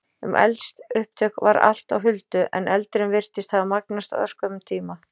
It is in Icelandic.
Um eldsupptök var allt á huldu, en eldurinn virtist hafa magnast á örskömmum tíma.